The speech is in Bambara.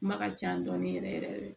Kuma ka ca dɔɔni yɛrɛ yɛrɛ de